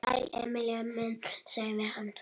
Sæll, Emil minn, sagði hann.